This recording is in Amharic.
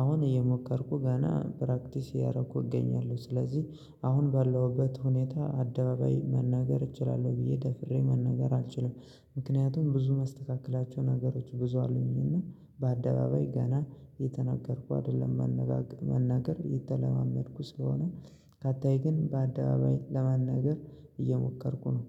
አሁን እየሞከርኩ ገና ፕራክቲስ እያደረኩ እገኛለሁ ስለዚህ አሁን ባለሁበት ሁኔታ አደባባይ መናገር እችላለሁ ብዬ ደፍሬ መናገር አልችልም ምክንያቱም ብዙ ማስተካከላቸው ነገሮች ብዙ አሉኝና በአደባባይ ገና እየተናገርኩ አይደለም መናገር እየተለማመድኩ ስለሆነ በታች ግን በአደባባይ ለመናገር እየሞከርኩ ነው